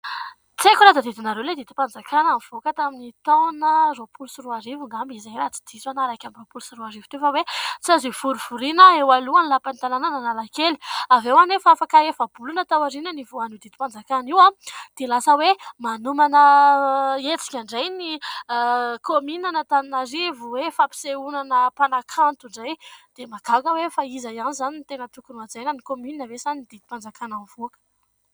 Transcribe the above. Tsy haiko raha tadidinareo ilay didim-panjakana nivoaka tamin' ny taona roapolo sy roa arivo angambany izay raha tsy diso na iraika amby roapolo sy roa arivo teo fa hoe tsy azo hivorivoriana eo alohany lapan' ny tananan' Analakely; avy eo anefa afaka efa-bolona taoriana nivohan' io didim-panjakana io ary dia lasa hoe manomana hetsika indray ny kaomininan' Antananarivo hoe fampisehoana mpanakanto indray dia mahagaga hoe fa iza ihany izany ny tena tokony hohajaina ny kaominina ve sa ny ny didim-panjakana mivoaka.